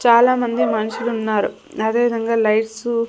చాలామంది మనుషులున్నారు అదే విధంగా లైట్సు --